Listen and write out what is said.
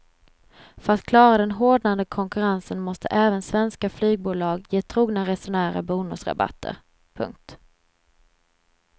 För att klara den hårdnande konkurrensen måste även svenska flygbolag ge trogna resenärer bonusrabatter. punkt